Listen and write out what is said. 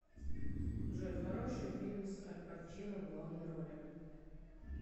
джой хороший фильм с альпачино в главной роли